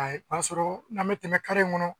A ye o y'a sɔrɔ n'an mi tɛmɛ in kɔnɔ